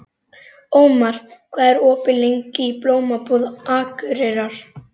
Ómar, hvað er opið lengi í Blómabúð Akureyrar?